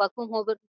work from